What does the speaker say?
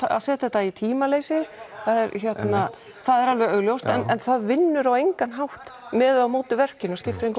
að setja þetta í tímaleysi það er augljóst en það vinnur á engan hátt með eða á móti verkinu